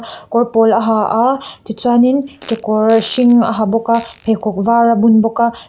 kawr pawl a ha a tichuanin kekawr hring a ha bawk a pheikhawk var a bun bawk a.